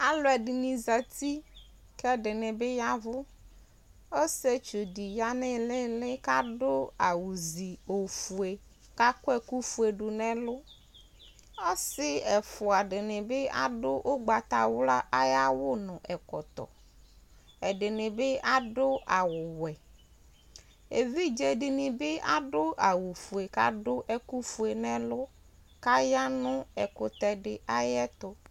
alu ɛdini zɛti kɛ ɛdini bi yavu ɔsiétsu di ya nu ilili ka du awu zi ofué ka akuɛku fué du nu ɛlu ɔsi ɛfua dini bi adi ugbata wla aya awu nu ɛkɔtɔ ɛdini bi adu awu wɛ évidzé dini bi adu awu fué kadu ɛku fué nɛ ɛlu kaya nu ɛkutɛdi ayɛtu